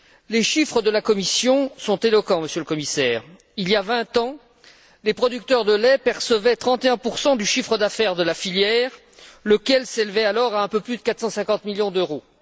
Les chiffres de la Commission sont éloquents, Monsieur le Commissaire il y a vingt ans, les producteurs de lait percevaient 31 du chiffre d'affaires de la filière, lequel s'élevait alors à un peu plus de 450 millions d'euros.